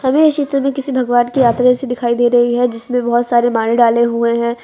हमें इस चित्र में किसी भगवान की यात्रा जैसी दिखाई दे रही है जिसमें बोहोत सारे माले डाले हुए है।